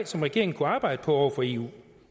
som regeringen kunne arbejde på over for eu